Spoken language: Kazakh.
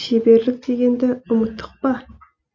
көркемдік шеберлік дегенді ұмыттық па